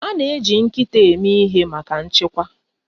A na-eji nkịta eme ihe maka nchekwa.